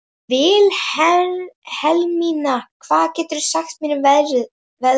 Vilhelmína, hvað geturðu sagt mér um veðrið?